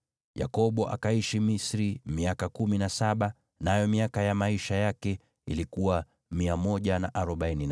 Yakobo akaishi Misri miaka kumi na saba, nayo miaka ya maisha yake ilikuwa 147.